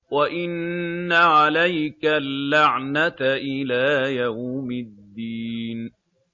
وَإِنَّ عَلَيْكَ اللَّعْنَةَ إِلَىٰ يَوْمِ الدِّينِ